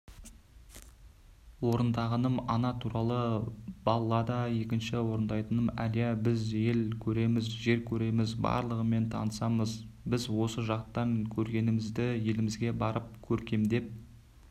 орындағаным ана туралы баллада екінші орындайтыным әлия біз ел көреміз жер көреміз барлығымен танысамыз біз осы жақтан көргенімізді елімізге барып көркемдеп